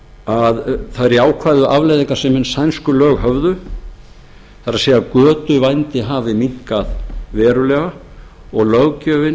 að þær jákvæðu afleiðingar sem hin sænsku lög höfðu það er að götuvændi hafi minnkað verulega og löggjöfin